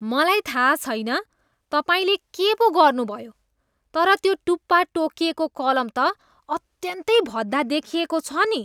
मलाई थाहा छैन तपाईँले के पो गर्नुभयो तर त्यो टुप्पा टोकिएको कलम त अत्यन्तै भद्दा देखिएको छ नि।